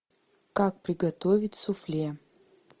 как приготовить суфле